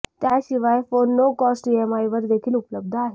त्याशिवाय phone no cost इएमआयवर देखील उपलब्ध आहेत